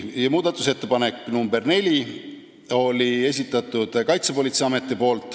Muudatusettepaneku nr 4 oli esitanud Kaitsepolitseiamet.